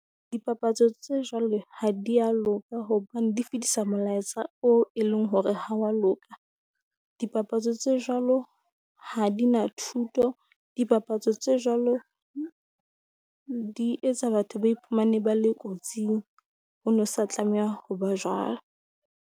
Dipapatso tse jwalo ha di ya loka, hobane di fetisa molaetsa o e leng hore ha wa loka. Dipapatso tse jwalo ha di na thuto, dipapatso tse jwalo di etsa batho ba iphumane ba le kotsing, o no sa tlameha ho ba .